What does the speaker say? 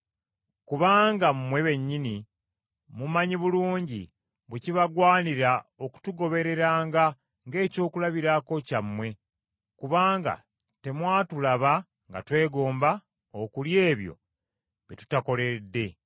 Kubanga mmwe bennyini mumanyi bulungi bwe kibagwanira okutugobereranga ng’ekyokulabirako kyammwe, kubanga temwatulaba nga twegomba okulya ebyo bye tutakoleredde,